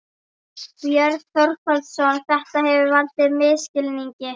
Björn Þorláksson: Þetta hefur valdið misskilningi?